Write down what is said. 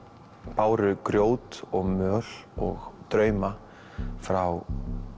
báru grjót og möl og drauma frá